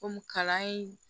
Kɔmi kalan in